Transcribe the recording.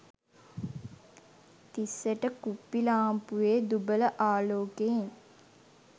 තිස්සට කුප්පි ලාම්පුවේ දුබල ආලෝකයෙන්